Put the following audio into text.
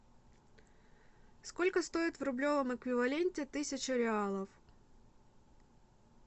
сколько стоит в рублевом эквиваленте тысячу реалов